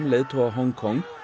leiðtoga Hong Kong